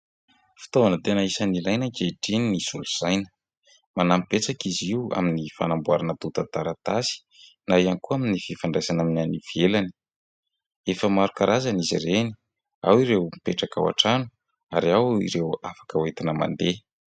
Fitaovana tena anisany ilaina ankehitriny ny solosaina. Manampy betsaka izy io amin'ny fanamboarana antotan-taratasy na ihany koa amin'ny fifandraisana amin'ny any ivelany. Efa maro karazana izy ireny. Ao ireo mipetraka ao an-trano ary ao ireo afaka hoentina mandeha.